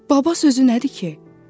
Baba sözü nədir ki?